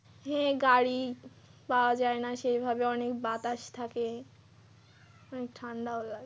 হ্যাঁ গাড়ি পাওয়া যায়না সেইভাবে অনেক বাতাস থাকে ঠান্ডাও লাগে।